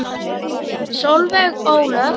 Solveig Ólöf.